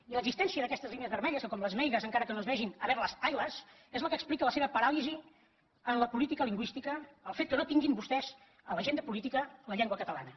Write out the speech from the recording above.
i l’existència d’aquestes línies vermelles que com les meigas encara que no es vegin haberlas haylasplica la seva paràlisi en la seva política lingüística el fet que no tinguin vostès a l’agenda política la llengua catalana